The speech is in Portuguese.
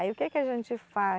Aí o que que a gente faz?